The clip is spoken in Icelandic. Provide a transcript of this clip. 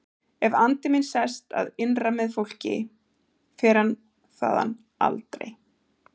Ef andi minn sest að innra með fólki fer hann þaðan aldrei.